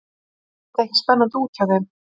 Leit þetta ekki spennandi út hjá þeim?